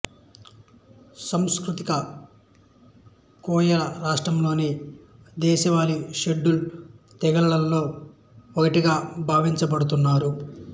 సాంస్కృతిక కోయలు రాష్ట్రంలోని దేశవాళీ షెడ్యూల్ తెగలలలో ఒకటిగా భావించబడుతున్నారు